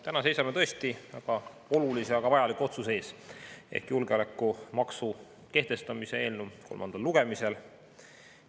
Täna seisame tõesti väga olulise ja ka väga vajaliku otsuse ees julgeolekumaksu kehtestamise eelnõu kolmandal lugemisel.